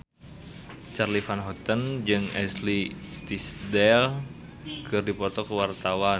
Charly Van Houten jeung Ashley Tisdale keur dipoto ku wartawan